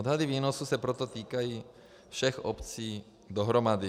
Odhady výnosů se proto týkají všech obcí dohromady.